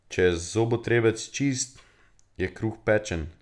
Če je zobotrebec čist, je kruh pečen.